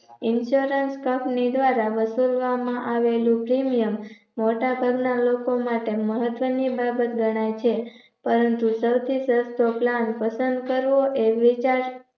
insurance company દ્વારા વસુલવામાં આવેલૂ Premium મોટા ઘરના લોકો માટે મહત્વની બાબત ગણાય છે. પરંતુ સૌથી સસ્તો Plan પસન્દ કરવો એ વિચાર